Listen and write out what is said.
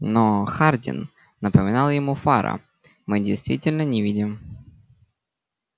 но хардин напоминал ему фара мы действительно не видим